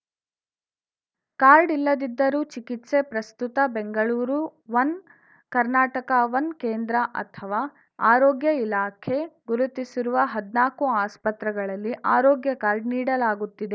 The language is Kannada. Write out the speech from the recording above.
ಕಾರ್ಡ್‌ ಇಲ್ಲದಿದ್ದರೂ ಚಿಕಿತ್ಸೆ ಪ್ರಸ್ತುತ ಬೆಂಗಳೂರು ಒನ್‌ ಕರ್ನಾಟಕ ಒನ್‌ ಕೇಂದ್ರ ಅಥವಾ ಆರೋಗ್ಯ ಇಲಾಖೆ ಗುರುತಿಸಿರುವ ಹದ್ನಾಕು ಆಸ್ಪತ್ರೆಗಳಲ್ಲಿ ಆರೋಗ್ಯ ಕಾರ್ಡ್‌ ನೀಡಲಾಗುತ್ತಿದೆ